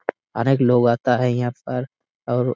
अनेक लोग आता है यहां पर और--